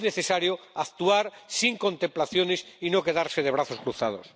Es necesario actuar sin contemplaciones y no quedarse de brazos cruzados.